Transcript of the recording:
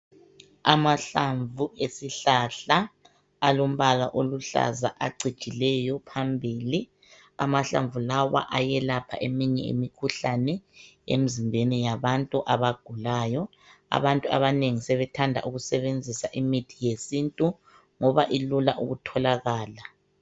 Amahlamnvu alombala oluhlaza acijileyo phambili , amahlamnvu lawa ayelapha imikhuhlane emzimbeni yabantu abagulayo , abantu abanengi sebethe da ukusebenzisa imithi yesintu ngoba ilula ukutholakala .